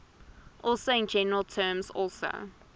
also in general terms also